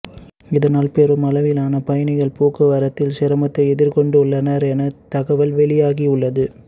இதனால் பெருமளவிலான பயணிகள் போக்குவரத்தில் சிராமத்தை எதிர்கொண்டுள்ளனர் என் தகவல் வெளியாகியுள்ளது